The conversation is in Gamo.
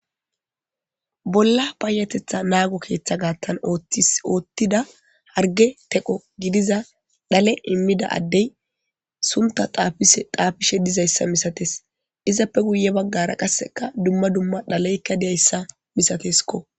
Bolla payatetha naago keeththa gaattan t oottida harge teqo gidiza dhale immida addey sumta taafishe dizayssa misates izappe guye baggara qasseka dumma dumma dhaleykka diyayssa misateskko.